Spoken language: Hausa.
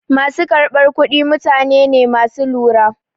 Ma su karɓar kuɗi mutane ne ma su lura.